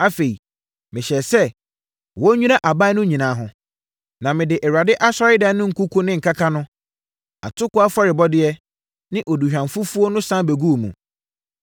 Afei mehyɛɛ sɛ, wɔnnwira adan no nyinaa ho, na mede Awurade Asɔredan no nkuku ne nkaka no, atokoɔ afɔrebɔdeɛ ne aduhwamfufuo no sane bɛguu mu.